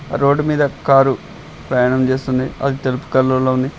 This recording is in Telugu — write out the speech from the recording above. రోడ్డు మీద కారు ప్రయాణం చేస్తుంది అది తెలుపు కలర్ లో ఉంది.